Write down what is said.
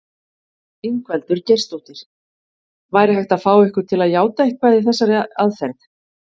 Ingveldur Geirsdóttir: Væri hægt að fá ykkur til játa eitthvað með þessari aðferð?